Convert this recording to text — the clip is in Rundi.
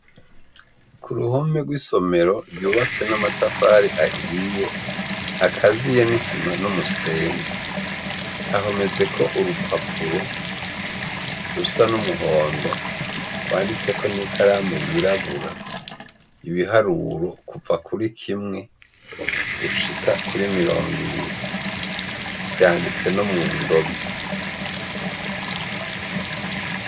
Kuruhome rwisonero ryubatswe namatafari ahiye akaziye nisima numusenyi hahometseko urupapuro rusa numuhondo rwanditseko nikaramu yirabura ibiharuro kuva kuri kimwe gushika kuri mirongo ibiri vyanditse no mundome